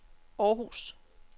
Århus